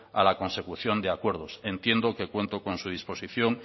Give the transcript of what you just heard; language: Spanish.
a la consecución de acuerdos entiendo que cuento con su disposición